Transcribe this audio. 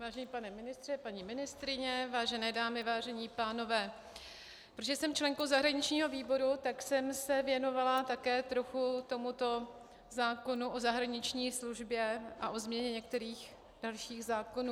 Vážený pane ministře, paní ministryně, vážené dámy, vážení pánové, protože jsem členkou zahraničního výboru, tak jsem se věnovala také trochu tomuto zákonu o zahraniční službě a o změně některých dalších zákonů.